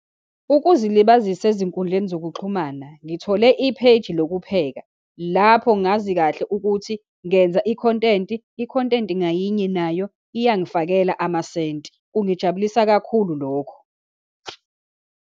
Ukuzilibazisa ezinkundleni zokuxhumana, ngithole ipheyiji lokupheka, lapho ngazi kahle ukuthi ngenza i-content. I-content ngayinye nayo, iya ngifakela amasenti, kungijabulisa kakhulu lokho.